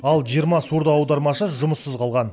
ал жиырма сурдоаудармашы жұмыссыз қалған